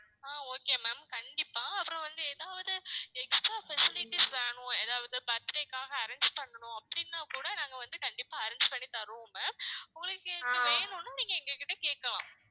அஹ் okay ma'am கண்டிப்பா அப்பறம் வந்து எதாவது extra facilities வேணும் எதாவது birthday காக arrange பண்ணணும் அப்படினா கூட நாங்க வந்து கண்டிப்பா arrange பண்ணி தர்றோம் ma'am உங்களுக்கு வேணும்னா நீங்க எங்ககிட்ட கேட்கலாம்